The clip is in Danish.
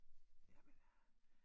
Jamen øh